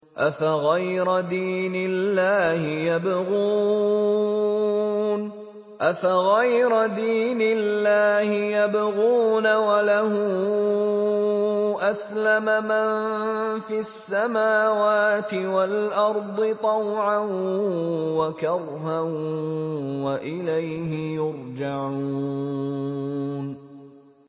أَفَغَيْرَ دِينِ اللَّهِ يَبْغُونَ وَلَهُ أَسْلَمَ مَن فِي السَّمَاوَاتِ وَالْأَرْضِ طَوْعًا وَكَرْهًا وَإِلَيْهِ يُرْجَعُونَ